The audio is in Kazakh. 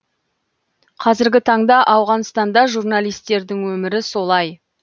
қазіргі таңда ауғанстанда журналистердің өмірі солай